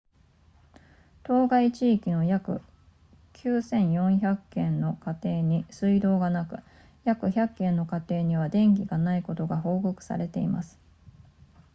当該地域の約9400軒の家庭に水道がなく約100軒の家庭には電気がないことが報告されています